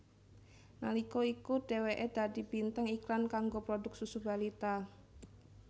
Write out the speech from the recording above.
Nalika iku dheweke dadi bintang iklan kanggo produk susu balita